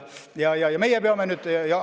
Ja meie peame nüüd seisukoha võtma.